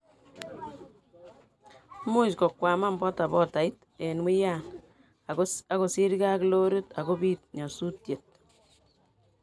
muuch kokwaman bodabodait eng wian ago sirgei ago lorit ago bit nyasusiet